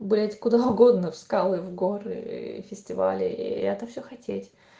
блять куда угодно в скалы в горы фестивали и я это всё хотеть